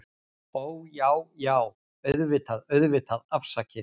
Ó, Já, já, auðvitað, auðvitað, afsakið